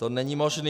To není možné.